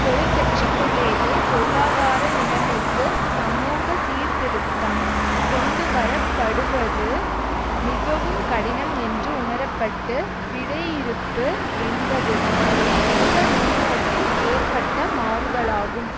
தொழிற்கட்சிக்குள்ளேயே பொருளாதார நிலைமைக்கு சமூக சீர்திருத்தம் கொண்டுவரப்படுவது மிகவும் கடினம் என்று உணரப்பட்டு விடையிறுப்பு என்பதுதான் இந்த முன்னோக்கில் ஏற்பட்ட மாறுதலாகும்